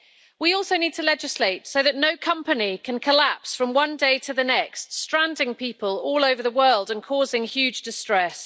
We also need to legislate so that no company can collapse from one day to the next, stranding people all over the world and causing huge distress.